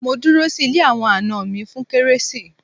Mo dúró sí ilé àwọn àna mi fún kérésì